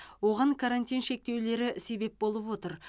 оған карантин шектеулері себеп болып отыр